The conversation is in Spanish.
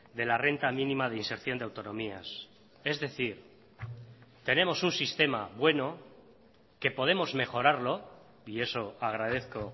de la renta mínima de inserción de autonomías es decir tenemos un sistema bueno que podemos mejorarlo y eso agradezco